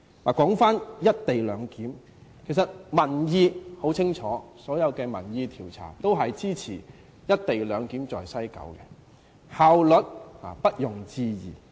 說回"一地兩檢"，其實民意很清楚，所有民意調查均支持在西九龍站實施"一地兩檢"，效率不容置疑。